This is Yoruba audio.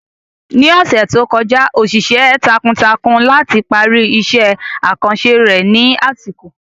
Ní ọ̀sẹ̀ tó kọjá, ó ṣiṣẹ́ takuntakun láti parí iṣẹ́ àkànṣe rẹ̀ ní àsìkò.